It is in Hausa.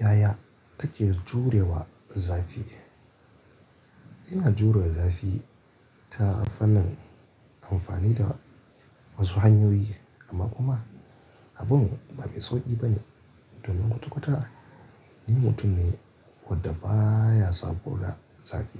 Yaya take jurewa zafi? Ina jure zafi ta fannin amfani da wasu hanyoyi amma kuma abun ba mai sauƙi ba ne domin kwata-kwata ni mutum ne wanda ba ya saboda zafi.